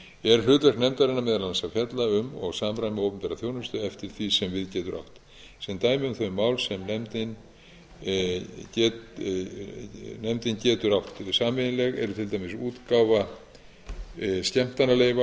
er hlutverk nefndarinnar meðal annars að fjalla um og samræma opinbera þjónustu eftir því sem við getur átt sem dæmi um þau mál sem nefndin getur átt sameignleg eru til dæmis útgáfa skemmtanaleyfa og annarra leyfa